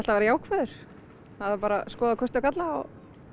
vera jákvæður það þarf bara að skoða kosti og galla og